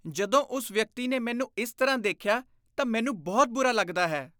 ਜਦੋਂ ਉਸ ਵਿਅਕਤੀ ਨੇ ਮੈਨੂੰ ਇਸ ਤਰ੍ਹਾਂ ਦੇਖਿਆ ਤਾਂ ਮੈਨੂੰ ਬਹੁਤ ਬੁਰਾ ਲੱਗਦਾ ਹੈ।